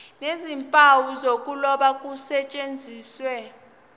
nezimpawu zokuloba kusetshenziswe